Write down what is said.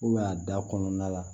a da kɔnɔna la